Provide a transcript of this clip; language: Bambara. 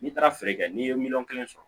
N'i taara feere kɛ n'i ye miliyɔn kelen sɔrɔ